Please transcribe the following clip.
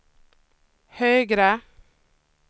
högre